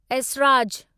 Esraj